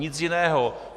Nic jiného.